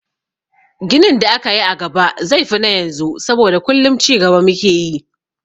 Ginin da za a yi a gaba zai fi na yanzu saboda kullum cigaba mu ke yi.